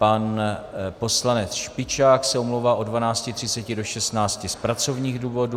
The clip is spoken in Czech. Pan poslanec Špičák se omlouvá od 12.30 do 16 z pracovních důvodů.